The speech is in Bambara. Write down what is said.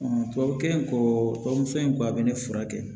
tubabu kelen ko bamuso ba bɛ ne furakɛ